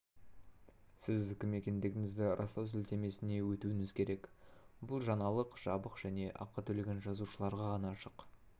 сіз кім екендігіңізді растау сілтемесіне өтуіңіз керек бұл жаңалық жабық және ақы төлеген жазылушыларға ғана ашық